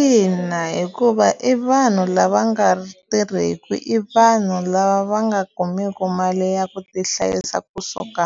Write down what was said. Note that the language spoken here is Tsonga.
Ina hikuva i vanhu lava nga tirheki i vanhu lava va nga kumeki mali ya ku ti hlayisa kusuka